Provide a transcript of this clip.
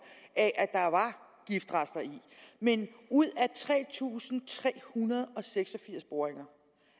af at der var giftrester i men ud af tre tusind tre hundrede og seks og firs boringer